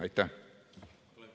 Aitäh!